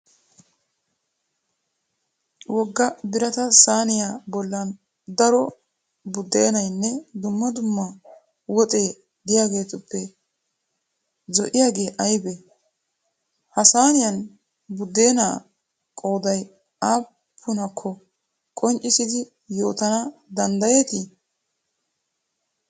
Wogga birata sayiniya bollan daro buddeenayinne dumma dumma woxee diyageetuppe zo'iyagee ayibee? Ha sayiniyan buddeenaa qooday aappunakko qonccissidi yootanna danddayeti?